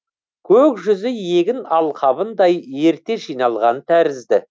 көк жүзі егін алқабындай ерте жиналған тәрізді